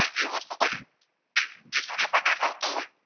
ખાવતો હોય